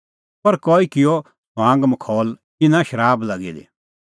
पर कई किअ ठठअमखौल इना आसा शराब लागी दी